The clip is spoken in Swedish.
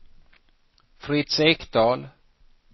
Fritz Ekdahl